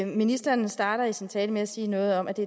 ministeren starter i sin tale med at sige noget om at det